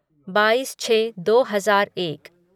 बाईस छः दो हज़ार एक